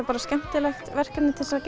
bara skemmtilegt verkefni til að